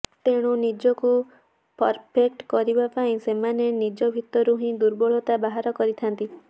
ତେଣୁ ନିଜକୁ ପରଫେକ୍ଟ କରିବା ପାଇଁ ସେମାନେ ନିଜ ଭି୍ତରୁ ହିଁ ଦୁର୍ବଳତା ବାହାର କରିଥାନ୍ତି